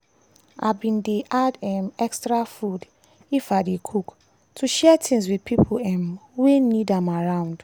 i bin dey add um extra food if i dey cook to share things with pipo um wey need am around.